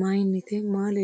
mayinite maa leellishshannote